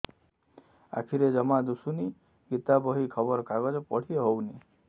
ଆଖିରେ ଜମା ଦୁଶୁନି ଗୀତା ବହି ଖବର କାଗଜ ପଢି ହଉନି